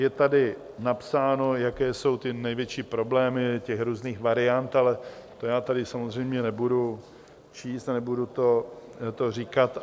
Je tady napsáno, jaké jsou ty největší problémy těch různých variant, ale to já tady samozřejmě nebudu číst a nebudu to říkat.